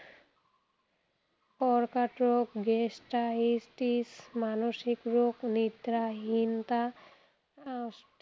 কৰ্কট ৰোগ, gastritis মানসিক ৰোগ, নিদ্ৰা হীনতা, osteoporosis